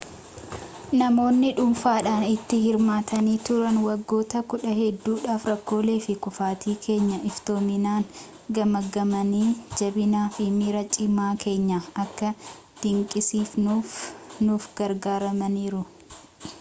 namoonni dhuunfaadhaan itti hirmaatanii turan waggoota kudhan hedduudhaaf rakkoolee fi kuufaatii keenya iftoominaan gamaaggamanii jabinaa fi miira cimaa keenya akka dinqisiifannuuf nu gargaarananiiru